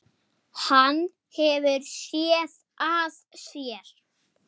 Hann hefur SÉÐ AÐ SÉR.